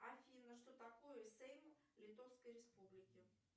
афина что такое сейм литовской республики